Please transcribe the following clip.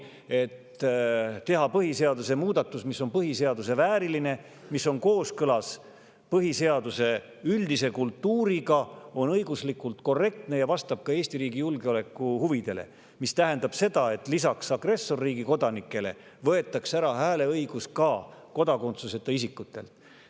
Teha on põhiseaduse muudatus, mis on põhiseaduse vääriline ja kooskõlas põhiseaduse üldise kultuuriga, on õiguslikult korrektne ja vastab ka Eesti riigi julgeolekuhuvidele, mis tähendab seda, et lisaks agressorriigi kodanikele võetakse hääleõigus ära ka kodakondsuseta isikutelt.